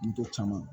N tɔ caman